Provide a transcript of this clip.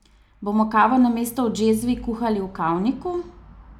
Bomo kavo namesto v džezvi kuhali v kavniku?